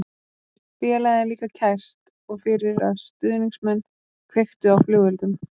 Félagið er líka kært og fyrir að stuðningsmenn kveiktu á flugeldum.